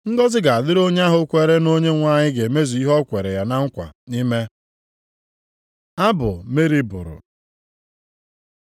Ngọzị ga-adịrị onye ahụ kwere na Onyenwe anyị ga-emezu ihe o kweere ya na nkwa ime.” Abụ Meri bụrụ